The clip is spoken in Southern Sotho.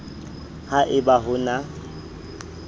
ha e ba ho na